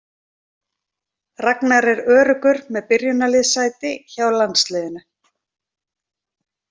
Ragnar er öruggur með byrjunarliðssæti hjá landsliðinu.